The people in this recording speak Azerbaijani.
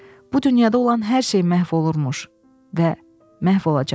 Bu dünyada olan hər şey məhv olurmuş və məhv olacaq.